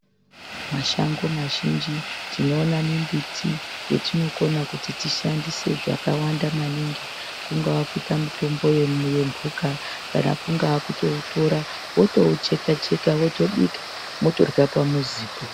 Mashango mazhinji tinoona mimbiti yetinokona kuti tishandise zvakawanda maningi. Kungava kuita mitombo yemhuka kana kungaa kutoutora votoucheka-cheka votoubika motorya pamuzipo.